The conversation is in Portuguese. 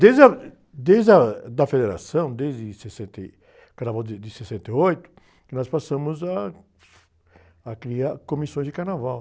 Desde a... Desde a, da Federação, desde sessenta e, o carnaval de, de sessenta e oito, que nós passamos a, a criar comissões de Carnaval.